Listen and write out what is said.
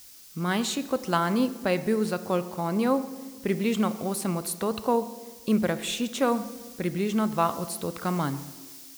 Manjši kot lani pa je bil zakol konjev, približno osem odstotkov, in prašičev, približno dva odstotka manj.